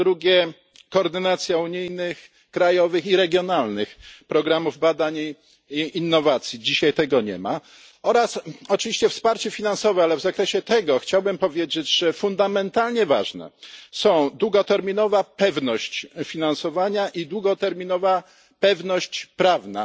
Po drugie, koordynacja unijnych, krajowych i regionalnych programów badań i innowacji dzisiaj tego nie ma oraz oczywiście wsparcie finansowe, ale w zakresie tego chciałbym powiedzieć, że fundamentalnie ważne są długoterminowa pewność finansowania i długoterminowa pewność prawna.